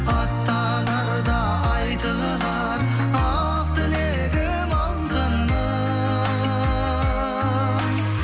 аттанарда айтылар ақ тілегім алтыным